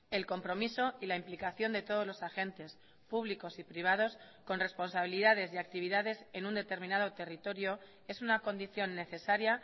el compromiso y la implicación de todos los agentes públicos y privados con responsabilidades y actividades en un determinado territorio es una condición necesaria